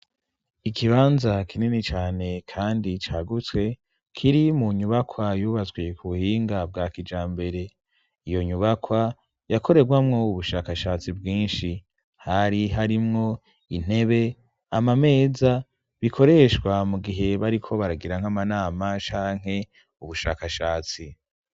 Ikibanza kinini cane kandi cagutse kiri mu nyubakwa yubatswe ku buhinga bwa kijambere, iyo nyubakwa yakorerwamwo ubushakashatsi bwinshi, hari harimwo intebe, amameza, bikoreshwa mu gihe bariko baragira nk'amanama canke ubushakashatsi.